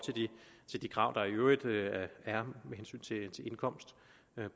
til de krav der i øvrigt er med hensyn til indkomst